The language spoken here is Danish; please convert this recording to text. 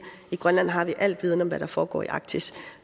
i grønland har vi al viden om hvad der foregår i arktis